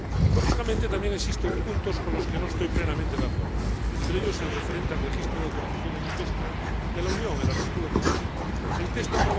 Lógicamente, también existen puntos con los que no estoy plenamente de acuerdo, entre ellos, el referente al registro de autorizaciones de pesca de la Unión El texto